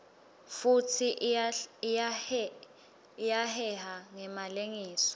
futsi iyaheha ngemalengiso